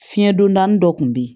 Fiɲɛ don da dɔ kun bɛ ye